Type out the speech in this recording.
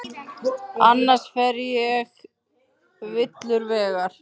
Annars fer ég villur vegar.